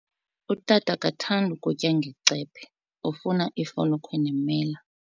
Utata akathandi kutya ngecephe, ufuna ifolokhwe nemela.